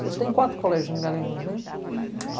Eu estudei em quatro colégios em Garanhuns, né? Uhum